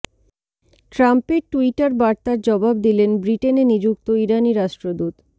ট্রাম্পের টুইটার বার্তার জবাব দিলেন ব্রিটেনে নিযুক্ত ইরানি রাষ্ট্রদূত